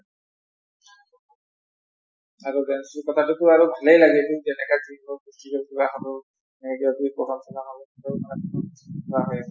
আৰু dance কথাতো টো আৰু ভালেই লাগে যেনেকা যি হওঁক